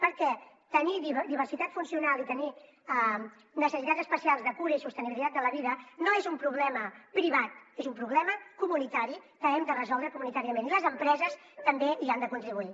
perquè tenir diversitat funcional i tenir necessitats especials de cura i sostenibilitat de la vida no és un problema privat és un problema comunitari que hem de resoldre comunitàriament i les empreses també hi han de contribuir